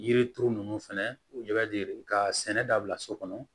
Yiri turu ninnu fɛnɛ u bɛ ka sɛnɛ dabila so kɔnɔ